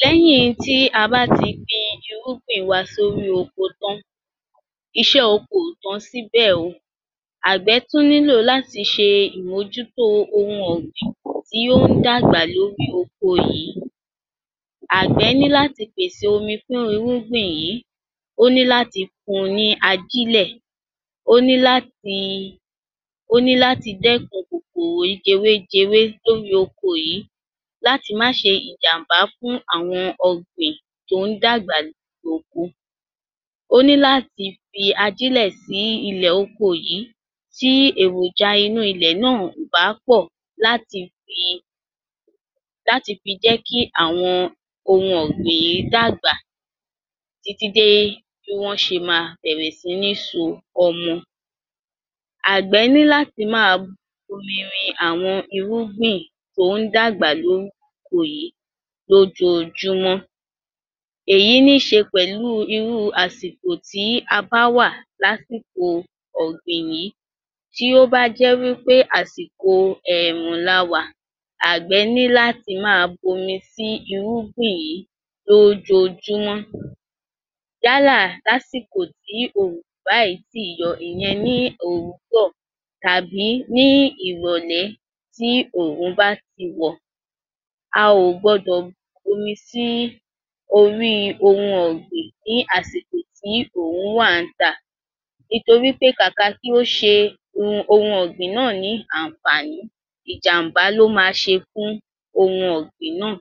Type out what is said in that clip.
Lẹ́yìn tí a bá ti gbin irúgbìn wa sórí oko tán, iṣẹ́ oko ò tán síbẹ̀ oo. Àgbẹ̀ tún nílò láti ṣe ìmọ̀jútó ohun ọ̀gbìn tí ó ń dàgbà lórí oko yìí. Àgbẹ̀ ní láti pèsè omi fún irúgbì yìí, ó ní láti fún un ní ajílẹ̀, ó ní láti, ó ní láti dẹ̀kún kòkòrò jẹwé jẹwé lórí oko yìí láti má ṣe ìjàmbá fún àwọn ọ̀gbìn tó dàgbà lórí oko. Ó ní láti fi ajílẹ̀ sí ilẹ̀ oko yìí, tí èròjà inú ilẹ̀ náà ò bá pọ̀ láti fi, láti fi jẹ́ kí àwọn ohun ọ̀gbìn yìí dàgbà títí dé é bí wọ́n ṣe máa bẹ̀rẹ̀ sí ní so ọmọ. Àgbẹ̀ ni láti máa bómi rẹ àwọn irúgbìn tó dàgbà lórí oko yìí lójoojúmọ́. Èyí ní ṣe pẹ̀lú irú àsìkò tí a bá wà lásìkò ọ̀gbìn yìí. Tí ó bá jẹ́ wí pé àsìkò ẹ̀ẹ̀rùn lá wà, Àgbẹ̀ ní láti máa bómi sí irúgbìn yìí lójoojúmọ́. Yálà ní àsìkò tí oòrùn ò bá yì ti yọ, ìyẹn ní òwúrọ̀ tàbí ní ìrọ̀lẹ́ tí oòrùn bá tí wọ̀. A ò gbọdọ̀ bómi sí orí ohun ọ̀gbìn ní àsìkò tí oòrùn wá n ta nítorí pé kàkà kí ó ṣe ohun ọ̀gbìn náà ní àǹfààní, ìjàmbá ló máa ṣe fún ohun ọ̀gbìn náà.